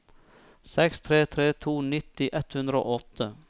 seks tre tre to nitti ett hundre og åtte